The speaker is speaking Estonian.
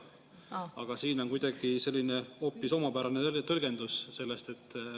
Aga siin on kuidagi selline hoopis omapärane tõlgendus sellest.